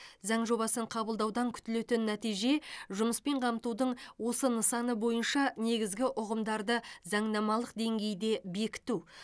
заң жобасын қабылдаудан күтілетін нәтиже жұмыспен қамтудың осы нысаны бойынша негізгі ұғымдарды заңнамалық деңгейде бекіту